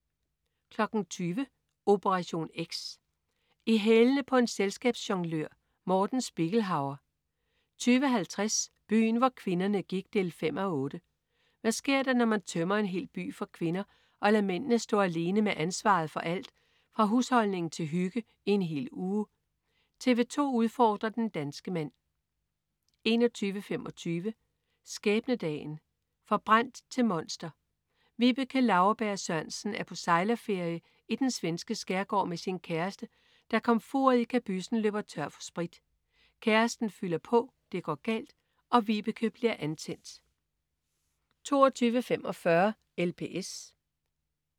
20.00 Operation X. I hælene på en selskabsjonglør. Morten Spiegelhauer 20.50 Byen hvor kvinderne gik 5:8. Hvad sker der, når man tømmer en hel by for kvinder og lader mændene stå alene med ansvaret for alt fra husholdning til hygge i en hel uge? TV 2 udfordrer den danske mand 21.25 Skæbnedagen. Forbrændt til monster. Vibeke Lauerberg Sørensen er på sejlerferie i den svenske skærgård med sin kæreste, da komfuret i kabyssen løber tør for sprit. Kæresten fylder på, det går galt og Vibeke bliver antændt 22.45 LPS